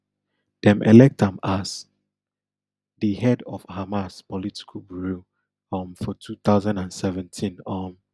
dem elect am as di head of hamas political bureau um for two thousand and seventeen um